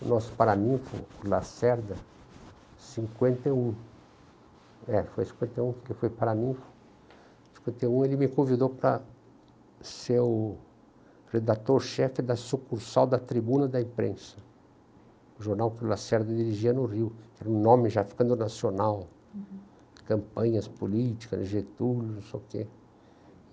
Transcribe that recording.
O nosso, o Lacerda, em cinquenta e um, é foi em cinquenta e um por que foi, cinquenta e um ele me convidou para ser o redator-chefe da sucursal da tribuna da imprensa, o jornal que o Lacerda dirigia no Rio, que era um nome já ficando nacional, campanhas políticas, rejeituras, não sei o quê.